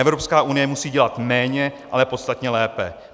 Evropská unie musí dělat méně, ale podstatně lépe.